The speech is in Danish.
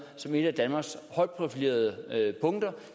som et af danmarks højt profilerede punkter